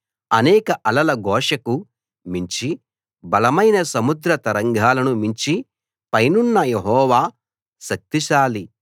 అనేక అలల ఘోషకు మించి బలమైన సముద్ర తరంగాలను మించి పైనున్న యెహోవా శక్తిశాలి